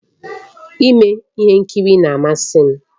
Ime ihe nkiri na-amasị m